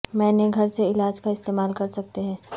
میں نے گھر سے علاج کا استعمال کر سکتے ہیں